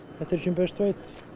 best veit